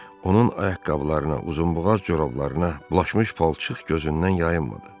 Onun ayaqqabılarına, uzunboğaz corablarına bulaşmış palçıq gözündən yayınmadı.